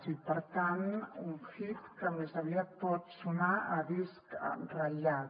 i per tant un hit que més aviat pot sonar a disc ratllat